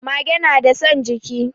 Mage nada son jiki